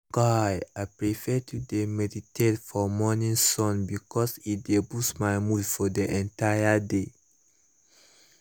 guy i prefer to dey meditate for morning sun because e dey boost my mood for the entire day